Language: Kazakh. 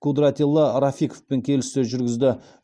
кудратилла рафиковпен келіссөз жүргізді